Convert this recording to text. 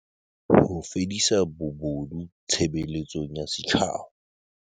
Ho fedisa bobodu tshebeletsong ya setjhaba.